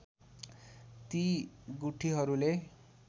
ती गुठीहरूले